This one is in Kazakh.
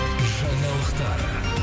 жаңалықтар